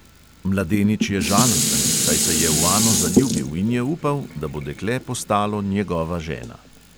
Mladenič je žalosten, saj se je v ano zaljubil in je upal, da bo dekle postalo njegova žena.